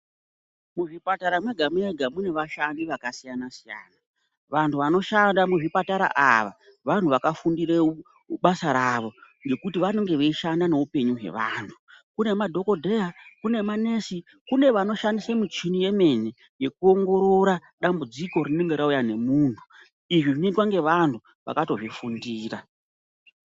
Muzvipatara mwega mwega mune vashandi vakasiyana siyana vanthu vanoshanda muzvipatara ava vanhu vakafundire basa ravo ngekuti vanenge veishanda neupenyu hwevanthu kune madhokodheya ,kune manesi kune vanoshandisa muchini yemene yekuongorora dambudziko rinenge rauya nemunthu izvi zvinoitwa nevanthu vakatozvifundira.